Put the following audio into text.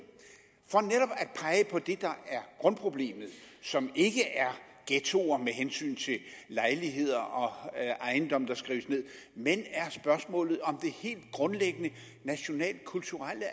for det der er grundproblemet som ikke er ghettoer med hensyn til lejligheder og ejendomme der skrives ned men er spørgsmålet om det helt grundlæggende nationalkulturelle at